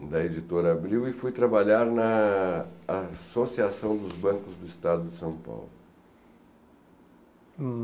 da Editora Abril e fui trabalhar na Associação dos Bancos do Estado de São Paulo.